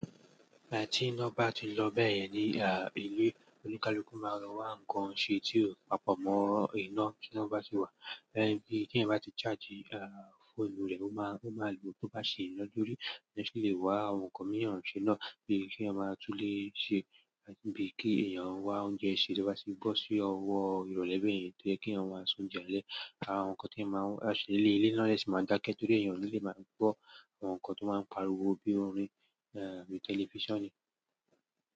Tí iná bá ti ń lọ bẹ́ẹ̀ yẹn ni à ilé olúkalúkú máa rọ wá nǹkan ṣe tí ó papọ̀ mọ́ iná tí wọ́n bá ṣe wà. Ẹ̀ bi tí ẹ̀yan bá ti charge fóònù rẹ, ó máa ó máa lo tó bá ṣe iná dúró, ẹn ṣe lè wá ohun kan mú èrànṣẹ́ náà bí i kí ẹ máa tún lè ṣe ẹn bí i kí èèyàn wá oúnjẹ sè lọ bá ṣe gbọ́ sí ọwọ́ ìrọ̀lẹ́ bẹ́ẹ̀ yẹn tó jẹ́ kí àwọn máa sùn jẹ ilẹ̀. Àwọn nǹkan tí ẹ máa ń ṣe lé ilé iná lè ṣe máa dákẹ́ torí èèyàn ní ilé lè máa gbọ́ àwọn nǹkan tó máa ń pariwo bí i orin àti tẹlifíṣàn ni.